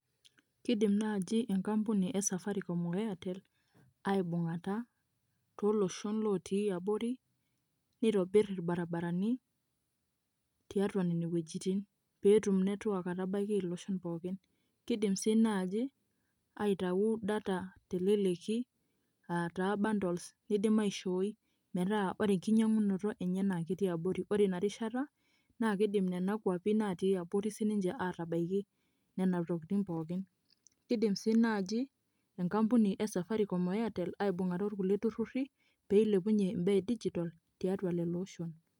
keidim naaaji enkampuni e safaricom wene airtel, aibung'ata tooloshon lotii abori, neitovir irbaribarani, tiatua nene weujitin. pee etum network atabaiki iloshon pookin. keidim sii naaji, aitau data teleleki, aaa taa bundles nidim aishooi, metaa ore enkinyiangunoto enye naa ketii abori. ore ina rishata naa kidim nenna kuapi natii abori sii ninche aatabaiki. nena tokitin pookin. kidim sii naaji enkampuni e safaricom o airtle, aibung'ata orkulie tururi pee eilepunye imbaa e digital tiatua lelo oshon.